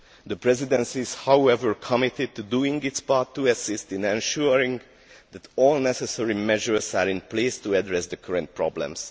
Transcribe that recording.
The Presidency is, however, committed to doing its part to assist in ensuring that all necessary measures are in place in order to address the current problems.